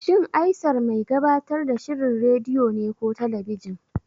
Shin Aisar mai gabatar da shirin rediyo ne ko talabijin?